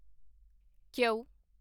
Q